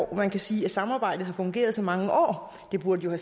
man kan sige at samarbejdet har fungeret i så mange år og der burde jo